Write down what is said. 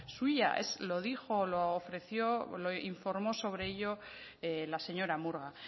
suya es lo dijo lo ofreció lo informó sobre ello la señora murga